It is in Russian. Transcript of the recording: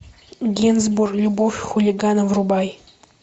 генсбур любовь хулигана врубай